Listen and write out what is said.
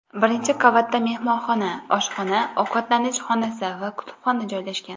Birinchi qavatda mehmonxona, oshxona, ovqatlanish xonasi va kutubxona joylashgan.